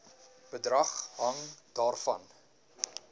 bedrag hang daarvan